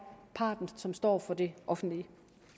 parten og som står for det offentlige